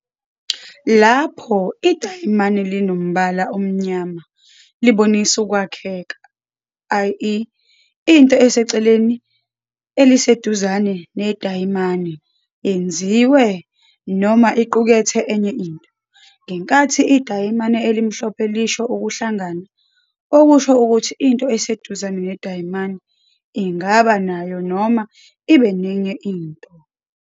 Lapho idayimane linombala omnyama libonisa ukwakheka, ie into eseceleni eliseduzane nedayimane yenziwe noma iqukethe enye into. Ngenkathi idayimane elimhlophe lisho ukuhlangana, okusho ukuthi into eseduzane nedayimane ingaba nayo noma ibe nenye into.